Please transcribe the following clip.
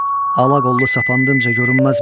Ala qollu sapandımca görünməz mənə.